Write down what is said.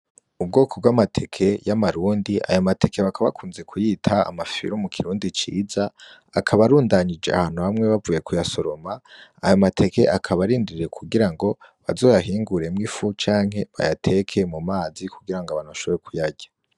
Ubwoko bw'amateke y'amarundi aya mateke bakaba bakunze kuyita amafyiru mu kirundi ciza akaba arundanyije ahantu hamwe bavuye kuyasoroma aya mateke akaba arindiriye kugira ngo bazoyahinguremwo ifu canke bayateke mu mazi kugira ngo abantu bashobore kuyarya.